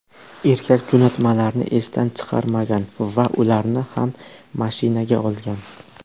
Erkak jo‘natmalarni esdan chiqarmagan va ularni ham mashinaga olgan.